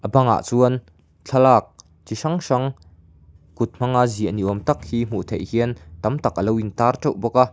bangah chuan thlalak chi hrang hrang kut hmanga ziah ni awm tak hi hmuh theih hian tam tak alo in tar teuh bawk a.